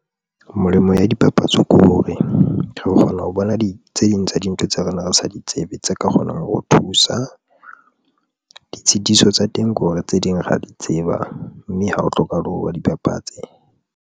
Melemo ya dipapatso ke hore re kgona ho bona tse ding tsa dintho tseo re ne re sa di tsebe, tse ka kgonang hore thusa ditshitiso tsa teng ke hore tse ding ra di tseba, mme ha ho hlokahale hore ba dibapatse.